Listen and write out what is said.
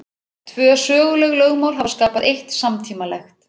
Tvö söguleg lögmál hafa skapað eitt samtímalegt.